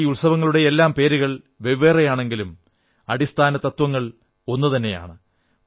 ഈ ഉത്സവങ്ങളുടെയെല്ലാം പേരുകൾ വെവ്വേറെയാണെങ്കിലും അടിസ്ഥാന തത്വങ്ങൾ ഒന്നുതന്നെയാണ്